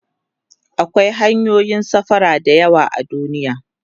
akwai hanyoyin safara da yawa a duniya